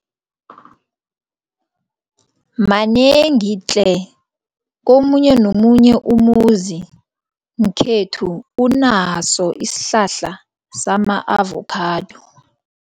Manengi tle, komunye nomunye umuzi ngekhethu unaso isihlahla sama-avokhado.